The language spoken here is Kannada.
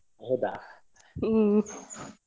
ಹಮ್ಮ್ ಹೌದಾ! ಹ.